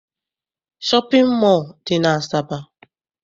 Shọpịn mọọ dị n'Asaba.